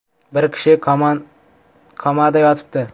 Bir kishi komada yotibdi.